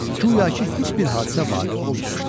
Guya ki, heç bir hadisə vaqe olmamışdı.